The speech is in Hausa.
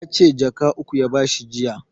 Yace jaka uku ya ba shi